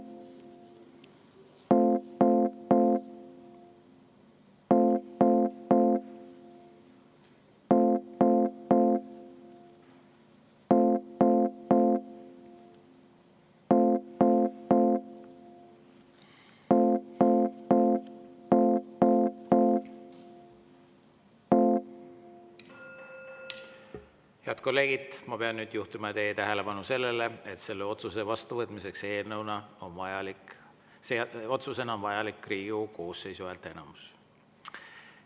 Head kolleegid, pean nüüd juhtima teie tähelepanu sellele, et selle otsuse eelnõuna vastuvõtmiseks on vajalik Riigikogu koosseisu häälteenamus.